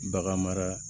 Bagan mara